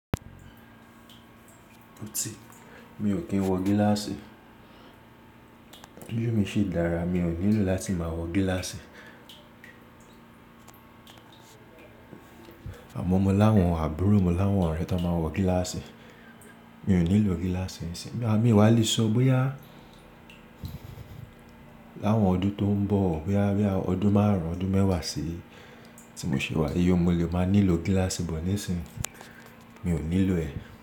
Ó ti, mi ò kí ń wọ gíláàsì. View mi ṣi dára, mi ò nílò láti máa wọ gíláàsì. Àmọ́ mọ láwọn àbúrò mi, mo láwọn ọ̀rẹ́ tán máa ń wọ gíláàsì. Mi ò nílò gíláàsì nísìnyí Àmó mi ò wá lè sọ bóyá láwọn ọdún tó ń bọ̀, bóyá bí i ọdún márùn-ún, ọdún mẹ́wàá sí i tí mo ṣe wà, yí o mo lè máa nílò gíláàsì but nísinsìnyí. Mi ò nílò ẹ̀